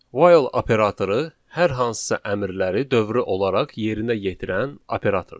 While operatoru hər hansısa əmrləri dövrü olaraq yerinə yetirən operatordur.